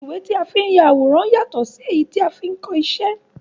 Ìwé tí a fi n ya àwòrán yàtọ sí ti a fi ni kọ iṣẹ́.